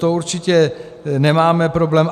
To určitě nemáme problém.